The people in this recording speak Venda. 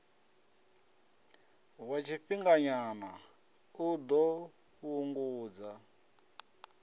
wa tshifhinganyana u ḓo fhungudza